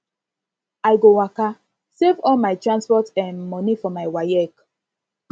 i go waka save all my transport um moni for my waec